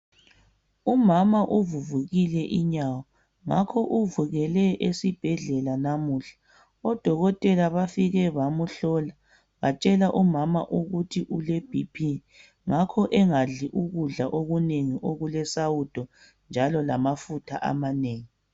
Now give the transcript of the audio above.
umama uvuvukile inyawo ngakho uvukele esibhedlela namuhla odokotela bafike bamuhlola bamutshela umama ukuthi ule BP ngakho engadli ukudla okunengi okule sawudo njalo lamafutha amanengi